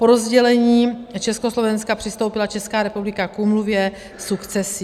Po rozdělení Československa přistoupila Česká republika k úmluvě sukcesí.